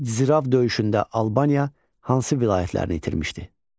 Zirav döyüşündə Albaniya hansı vilayətlərini itirmişdi?